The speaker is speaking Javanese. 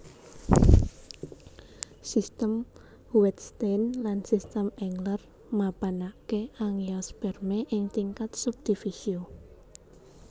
Sistem Wettstein lan Sistem Engler mapanaké Angiospermae ing tingkat subdivisio